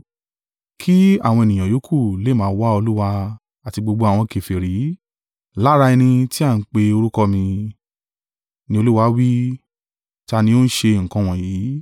Kí àwọn ènìyàn ìyókù lè máa wá Olúwa, àti gbogbo àwọn kèfèrí, lára ẹni tí a ń pe orúkọ mi,’ ni Olúwa wí, ta ni ó ń ṣe nǹkan wọ̀nyí,